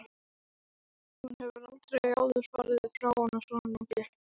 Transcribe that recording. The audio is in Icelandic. Hún hefur aldrei áður farið frá honum svona lengi.